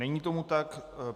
Není tomu tak.